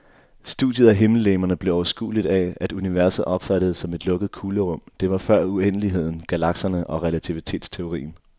Studiet af himmellegemerne blev overskueligt af, at universet opfattedes som et lukket kuglerum, det var før uendeligheden, galakserne og relativitetsteorien.